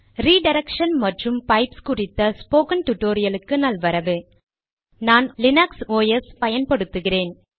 redirection மற்றும் pipes குறித்த spoken டுடோரியலுக்கு நல்வரவு நான் லினக்ஸ் ஒஸ் பயன்படுத்துகிறேன்